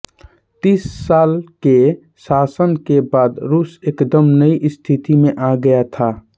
तीस साल के शासन के बाद रूस एकदम नई स्थिति में आ गया था